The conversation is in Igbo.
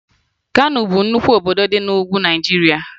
Kano bụ nnukwu obodo dị na Ugwu Naịjirịa